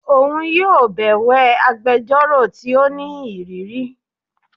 Oun yóò bẹwẹ agbẹjọro ti o ni iriri